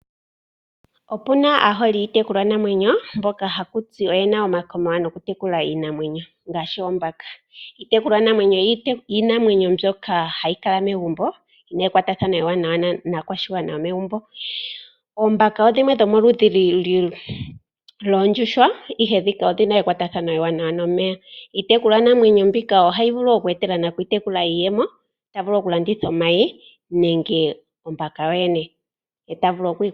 Opuna aaholi yokutekula iinamwenyo mboka haku tiwa oyena omakoma nokutekula iinamwenyo ngaashi oombaka. Iitekulwa namwenyo oyo iinamwenyo mbyoka hayi kala megumbo yina ekwatathano ewanawa naakwashigwana yomegumbo. Oombaka odho dhimwe dhomeludhi dhoondjuhwa, ihe ndhika odhina ekwatathano ewanawa nomeya. Iitekulwa namwenyo mbika ohayi vulu okweeta nayo iiyemo ta vulu oku landitha omayi nenge ombaka yo yene.